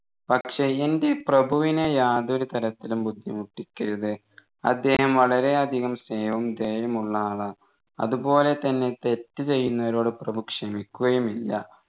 പക്ഷേ എൻെറ പ്രഭുവിനെ യാതൊരു തരത്തിലും ബുദ്ധിമുട്ടിക്കരുത് അദ്ദേഹം വളരെ അധികം സ്നേഹവും ദയയുമുള്ള ആളാ അതുപോലെത്തന്നെ തെറ്റ് ചെയ്യുന്നവരോട് പ്രഭു ക്ഷമിക്കുകയുമില്ല